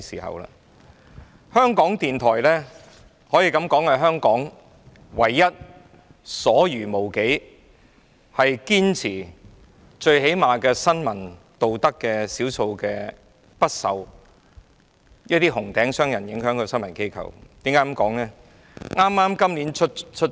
香港電台可說是香港所餘無幾、堅持最低限度的新聞道德的少數不受"紅頂"商人影響的新聞機構，為何我這樣說呢？